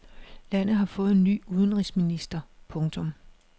Landet har fået ny udenrigsminister. punktum